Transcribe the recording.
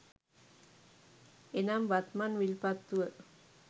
එනම් වත්මන් විල්පත්තුව